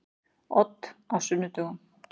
Odd á sunnudögum.